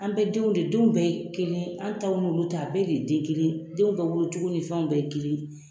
An bɛɛ denw de denw bɛɛ ye kelen anw ta olu ta a bɛɛ de ye den kelen ye denw bɛɛ wolocogo ni fɛnw bɛɛ ye kelen